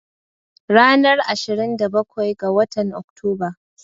Ranar Ashirin da bakwai ga watan Oktoba.